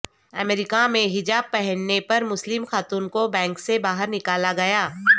امریکہ میں حجاب پہننے پر مسلم خاتون کو بینک سے باہر نکالا گیا